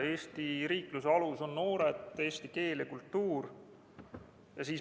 Eesti riikluse alus on noored, eesti keel ja kultuur.